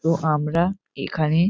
তো আমরা এখানে --